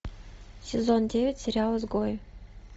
сезон девять сериал изгои